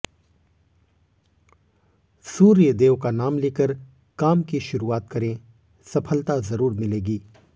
सूर्यदेव का नाम लेकर काम की शुरूआत करें सफलता जरूर मिलेगी